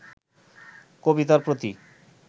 কবিতার প্রতি